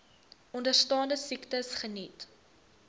onderstaande siektes geniet